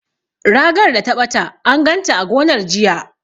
Ragar da ta ɓata, an ganta a gonar, jiya.